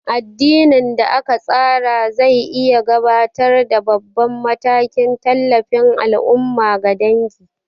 Addinin da aka tsara zai iya gabatar da babban matakin tallafin al'umma ga dangi.